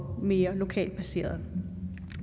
mere lokalt placerede